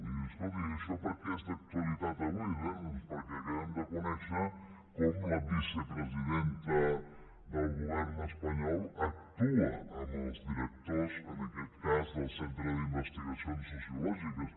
i diu escolti i això per què és d’actualitat avui bé doncs perquè acabem de conèixer com la vicepresidenta del govern espanyol actua amb els directors en aquest cas del centre d’investigacions sociològiques